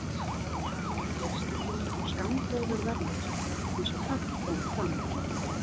Var það fjölskyldunni þó skammgóður vermir, eins og brátt kom fram.